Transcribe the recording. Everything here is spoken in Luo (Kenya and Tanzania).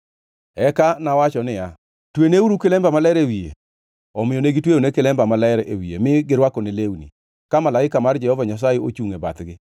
Eka nawacho niya, “Tweneuru kilemba maler e wiye.” Omiyo ne gitweyone kilemba maler e wiye mi girwakone lewni, ka malaika mar Jehova Nyasaye ochungʼ e bathgi.